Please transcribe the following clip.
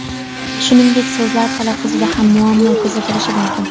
Shuningdek, so‘zlar talaffuzida ham muammo kuzatilishi mumkin.